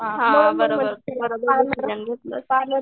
हां बरोबर बरोबर डिसिजन घेतलेस.